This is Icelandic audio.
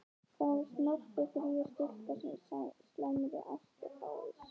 Það var snoppufríð stúlka af slæmri ætt og fávís.